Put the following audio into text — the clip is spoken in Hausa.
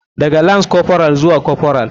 Daga lance corporal zuwa corporal.